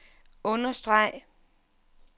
understreg